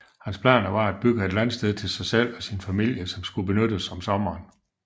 Hans planer var at bygge et landsted til sig selv og sin familie som skulle benyttes om sommeren